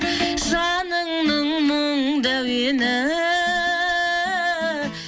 жаныңның мұңды әуені